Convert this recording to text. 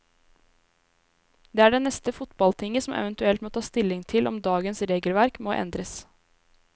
Det er det neste fotballtinget som eventuelt må ta stilling til om dagens regelverk må endres.